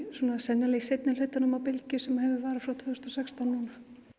sennilega í seinnihlutanum á bylgju sem hefur varað frá tvö þúsund og sextán núna